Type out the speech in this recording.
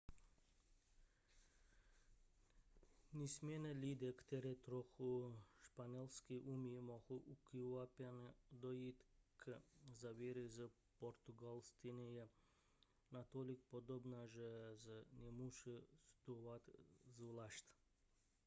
nicméně lidé kteří trochu španělsky umí mohou ukvapeně dojít k závěru že portugalština je natolik podobná že se nemusí studovat zvlášť